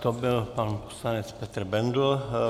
To byl pan poslanec Petr Bendl.